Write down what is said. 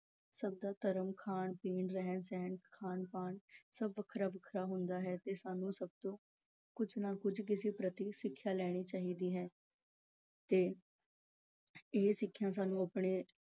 ਸਭ ਦਾ ਧਰਮ, ਖਾਣ-ਪੀਣ, ਰਹਿਣ-ਸਹਿਣ, ਖਾਣ-ਪਾਣ ਸਭ ਵੱਖਰਾ-ਵੱਖਰਾ ਹੁੰਦਾ ਹੈ ਤੇ ਸਾਨੂੰ ਸਭ ਤੋਂ ਕੁੱਝ ਨਾ ਕੁੱਝ ਕਿਸੇ ਪ੍ਰਤੀ ਸਿੱਖਿਆ ਲੈਣੀ ਚਾਹੀਦੀ ਹੈ ਤੇ ਇਹ ਸਿੱਖਿਆ ਸਾਨੂੰ ਆਪਣੇ